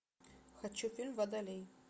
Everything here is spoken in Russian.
хочу фильм водолей